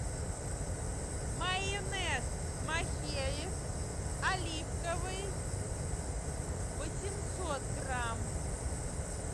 майонез махеев оливковый восемьсот грамм